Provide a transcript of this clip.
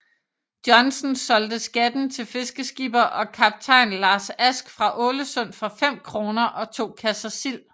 Johnsen solgte skatten til fiskeskipper og kaptajn Lars Ask fra Ålesund for 5 kroner og to kasser sild